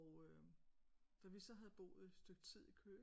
Og da vi så havde boet et stykke tid i Køge